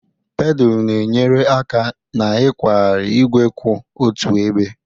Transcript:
Pedalu na-enyere aka n'ịkwagharị igwe kwụ otu ebe.